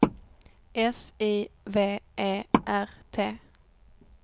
S I V E R T